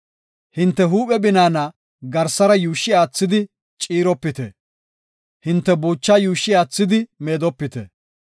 “Hinte huuphe binaana garsara yuushshi aathidi ciiropite; hinte buuchaa yuushshi aathidi meedopite.